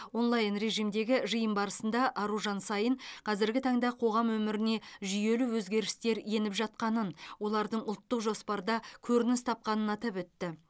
онлайн режимдегі жиын барысында аружан саин қазіргі таңда қоғам өміріне жүйелі өзгерістер еніп жатқанын олардың ұлттық жоспарда көрініс тапқанын атап өтті